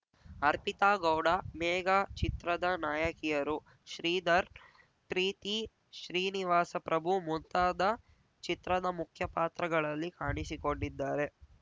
ಅರ್ಪಿತಾ ಗೌಡ ಮೇಘ ಚಿತ್ರದ ನಾಯಕಿಯರು ಶ್ರೀಧರ್‌ ಪ್ರೀತಿ ಶ್ರೀನಿವಾಸ ಪ್ರಭು ಮುಂತಾದ ಚಿತ್ರದ ಮುಖ್ಯ ಪಾತ್ರಗಳಲ್ಲಿ ಕಾಣಿಸಿಕೊಂಡಿದ್ದಾರೆ